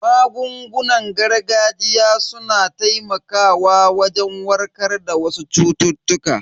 Magungunan gargajiya su na taimakawa wajen warkar da wasu cututtuka.